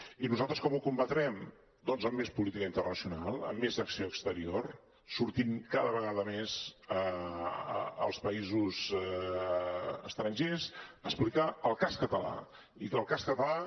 i nosaltres com ho combatrem doncs amb més política internacional amb més acció exterior sortint cada vegada més als països estrangers a explicar el cas català i que el cas català